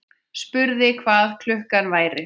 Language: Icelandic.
Spurði hvað klukkan væri.